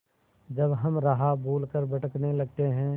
जब हम राह भूल कर भटकने लगते हैं